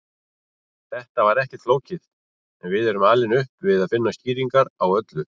Þetta er ekkert flókið en við erum alin upp við að finna skýringar á öllu.